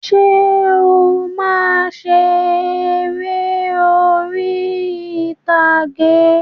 Ǹjẹ́ o máa ń ṣe eré orí ìtàgé?